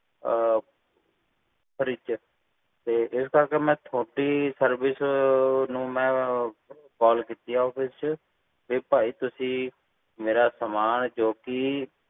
ਤੇ ਇਸ ਕਰਕੇ ਮੈ ਤੁਹਾਡੀ service ਨੂੰ ਮੈਂ call ਕੀਤੀ ਆ ਚ ਕਿ ਭਾਈ ਮੇਰਾ ਸਾਮਾਨ ਹੈ ਜੋ ਵੀ